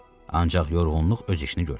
Ancaq yorğunluq öz işini gördü.